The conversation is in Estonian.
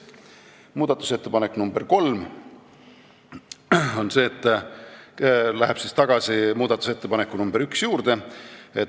Muudatusettepanek nr 3 läheb tagasi muudatusettepaneku nr 1 juurde.